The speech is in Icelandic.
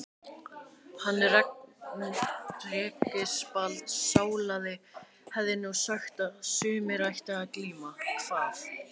Hann Reginbald sálaði hefði nú sagt að sumir ættu að glíma, kvað